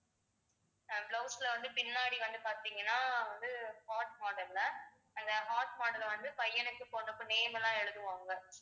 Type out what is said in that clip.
ஆஹ் blouse ல வந்து பின்னாடி வந்து பார்த்தீங்கன்னா வந்து heart model ல அந்த heart model அ வந்து பையனுக்கும், பொண்ணுக்கும் name எல்லாம் எழுதுவாங்க